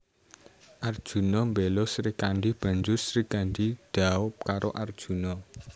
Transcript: Arjuna mbela Srikandhi banjur Srikandhi dhaup karo Arjuna